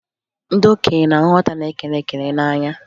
Ndị okenye na-ahụ nwata na-ekele ekele n'anya